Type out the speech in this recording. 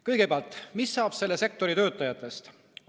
Kõigepealt, mis saab selle sektori töötajatest?